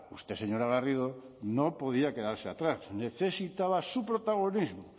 usted señora garrido no podía quedarse atrás necesitaba su protagonismo